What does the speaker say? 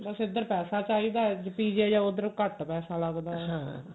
ਬਸ ਏਧਰ ਪੈਸਾ ਚਾਹਿਦਾ PGI ਜਾਓ ਉਧਰ ਘੱਟ ਪੈਸਾ ਲਗਦਾ